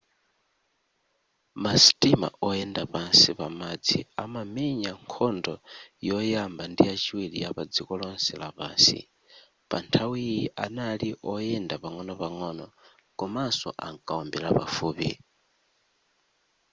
ma sitima oyenda pansi pamadzi anamenya nkhondo yoyamba ndi yachiwiri yapa dziko lonse lapansi panthawiyi anali oyenda pang'onopang'ono komanso ankaombera pafupi